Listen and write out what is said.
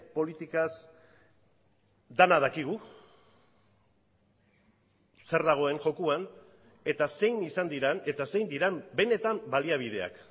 politikaz dena dakigu zer dagoen jokoan eta zein izan diren eta zein diren benetan baliabideak